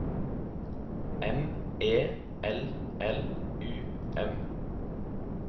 M E L L U M